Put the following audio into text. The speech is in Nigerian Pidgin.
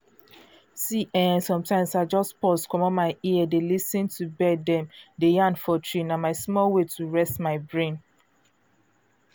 see eh sometimes i just pause commot my ear dey lis ten to bird dem dey yarn for tree—na my small way to reset my brain.